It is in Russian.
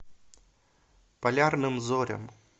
полярным зорям